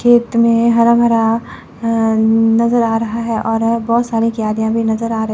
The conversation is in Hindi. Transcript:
खेत में हरा भरा अह नजर आ रहा है और बहुत सारी क्यारियां भी नजर आ र--